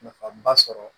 Nafaba sɔrɔ